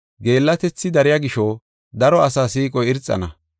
Geellatethi dariya gisho, daro asaa siiqoy irxana.